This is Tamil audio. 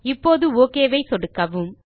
இப்போது ஒக் ஐ சொடுக்கவும்